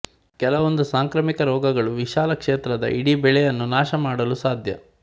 ಕೆಲವೊಂದು ಸಾಂಕ್ರಾಮಿಕ ರೋಗಗಳು ವಿಶಾಲಕ್ಷೇತ್ರದ ಇಡೀ ಬೆಳೆಯನ್ನು ನಾಶಮಾಡಲು ಸಾಧ್ಯ